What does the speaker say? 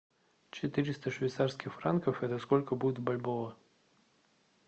четыреста швейцарских франков это сколько будет в бальбоа